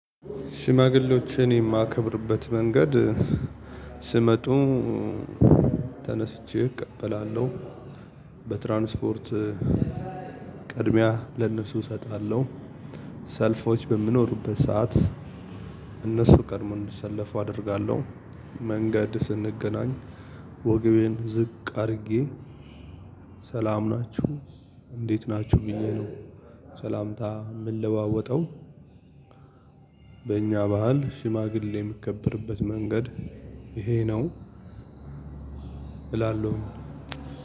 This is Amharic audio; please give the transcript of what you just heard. ሽማግሌዎችን የማከብርበት መንገድ ሲመጡ ተነስቼ እቀበላለው። በትራንስፖርት ቅድሚያ ለእነሱ እሰጣለው። ሰልፎች በሚኖሩበት ሰዓት እነሱ ቀድሞ እንዲሰለፉ አደርጋለሁ። መንገድ ስንገናኝ ወግቤን ዝቅ አድርጌ ሰላም ናችሁ እንዴት ናችሁ ብዬ ነው ሰላምታ የምለዋወጠው። በእኛ ባህል ሽማግሌ የሚከበርበት መንገድ ይሄ ነው እላለሁኝ።